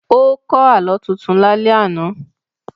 Ó kọ́ Àlọ́ tuntun lálẹ́ àná